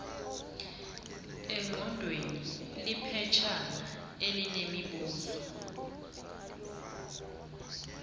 engqondweni liphetshana elinemibuzo